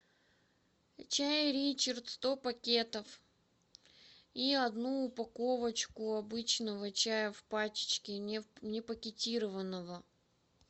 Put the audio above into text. чай ричард сто пакетов и одну упаковочку обычного чая в пачечке не пакетированного